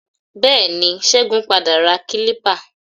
Bẹẹni, Ṣégun padà ra kílípà.